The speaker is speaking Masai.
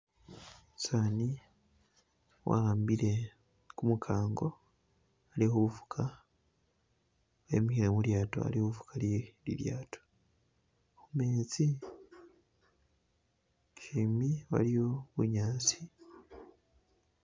Umusani wa'ambile kumukango ali khufuga , emikhile khu lyato ali khufuga ilyato khumetsi! Shimbi waliyo bunyaasi.